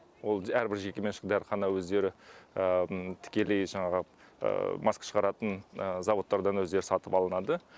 ол әрбір жеке меншік дәріхана өздері тікелей жаңағы маска шығаратын зауыттардан өздері сатып алынады